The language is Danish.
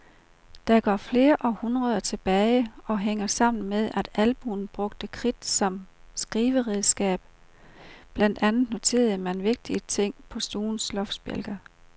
Det går flere århundreder tilbage og hænger sammen med, at almuen brugte kridt som skriveredskab, blandt andet noterede man vigtige ting på stuens loftsbjælker.